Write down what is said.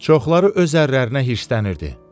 Çoxları öz ərlərinə hirslənirdi.